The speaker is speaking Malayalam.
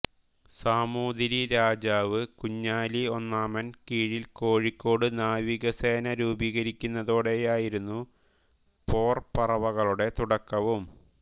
സാമൂതിരി രാജാവ് കുഞ്ഞാലി ഒന്നാമന് കീഴിൽ കോഴിക്കോട് നാവിക സേന രൂപീകരിക്കുന്നതോടെയായിരുന്നു പോർപറവകളുടെ തുടക്കവും